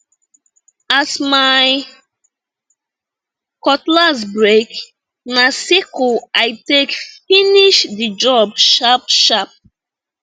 as my cutlass break na sickle i take finish the job sharpsharp